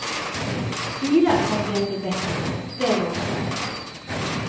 Bilar kommer vi att bli bättre på, det lovar jag dig.